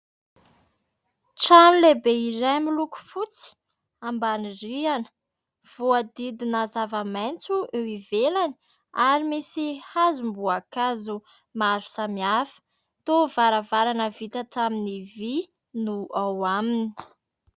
Trano lehibe iray miloko fotsy ambany rihana, voadidina zava-maitso eo ivelany ary misy hazom-boankazo maro samihafa, tao varavarana vita tamin'ny vy no ao aminy.